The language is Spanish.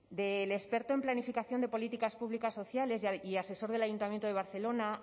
del experto en planificación de políticas públicas sociales y asesor del ayuntamiento de barcelona